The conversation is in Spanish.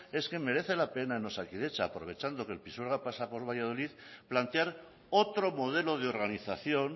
es que merece la pena en osakidetza aprovechando que el pisuerga pasa por valladolid plantear otro modelo de organización